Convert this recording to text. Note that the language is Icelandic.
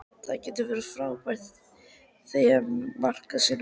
Það getur verið frábært að þegja með maka sínum.